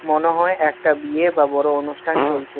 মনে হয় একটা বিয়ে বা বড় অনুষ্ঠান চলছে।